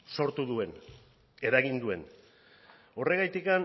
sortu duen eragin duen horregatik